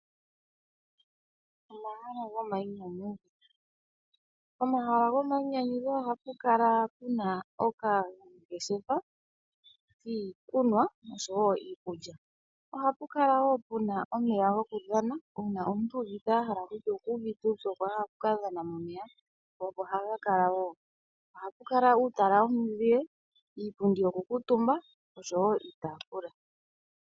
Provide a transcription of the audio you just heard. Omahala gomainyanyudho, pomahala gomainyanyudho ohapu kala puna okangeshefa kiikulya oshowo kiikunwa. Ohapu kala wo puna omeya gokudhana/gokuyoga/gokumbwinda uuna omuntu uuvite kutya okuuvite uupyu okwa hala okudhana momeya opo haga kala wo. Ohapu kala uutala womizile, iipundi yoku kuutuumba oshowo iitaafula.